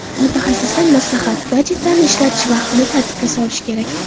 Mutaxassisdan maslahat: Gadjetlarni ishlatish vaqtini tartibga solish kerak.